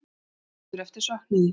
Söknuður eftir söknuði?